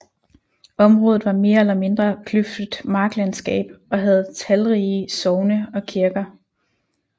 Området var mere eller mindre kløftet marsklandskab og havde talrige sogne og kirker